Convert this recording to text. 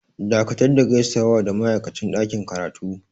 Dakatar da gaisawa da ma'aikacin ɗakin karatu!